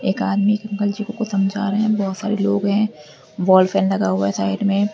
एक आदमी अंकल जी को समझ रहे हैं बहुत सारे लोग है वॉल फैन लगा हुआ है साइड में।